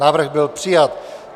Návrh byl přijat.